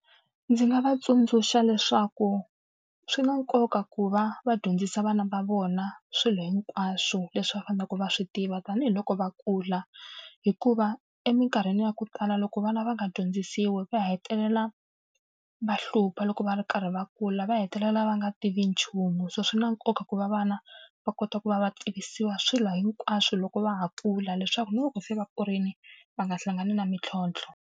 Ndzi nga va tsundzuxa leswaku swi na nkoka ku va va dyondzisa vana va vona swilo hinkwaswo leswi va faneleke va swi tiva tanihiloko va kula. Hikuva eminkarhini ya ku tala loko vana va nga dyondzisiwi, va hetelela va hlupha loko va ri karhi va kula, va hetelela va nga tivi nchumu. So swi na nkoka ku va vana va kota ku va va tivisiwa swilo hinkwaswo loko va ha kula leswaku na loko se va kurile, va nga hlangani na mintlhontlho.